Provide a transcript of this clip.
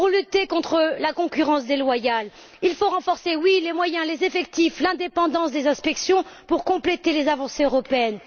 Pour lutter contre la concurrence déloyale, il faut renforcer les moyens, les effectifs, et l'indépendance des inspections, pour compléter les avancées européennes.